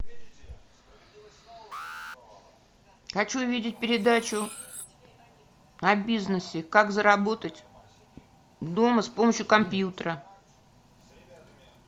хочу видеть передачу о бизнесе как заработать дома с помощью компьютера